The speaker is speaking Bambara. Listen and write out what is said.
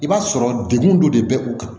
I b'a sɔrɔ degun dɔ de bɛ u kan